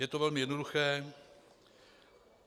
Je to velmi jednoduché.